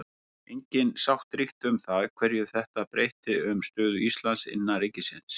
Engin sátt ríkti um það hverju þetta breytti um stöðu Íslands innan ríkisins.